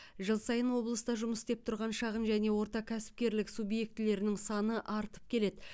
жыл сайын облыста жұмыс істеп тұрған шағын және орта кәсіпкерлік субьектілерінің саны артып келеді